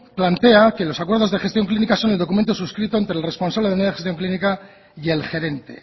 plantea que los acuerdos de gestión clínica son el documento suscrito entre el responsable de unidades de gestión clínica y el gerente